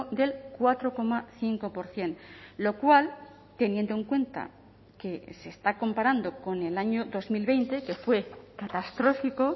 del cuatro coma cinco por ciento lo cual teniendo en cuenta que se está comparando con el año dos mil veinte que fue catastrófico